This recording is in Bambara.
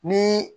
Ni